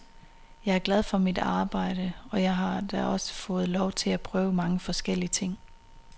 Jeg er glad for mit arbejde, og jeg har da også fået lov til at prøve mange forskellige ting.